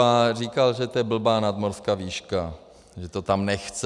A říkal, že to je blbá nadmořská výška, že to tam nechce.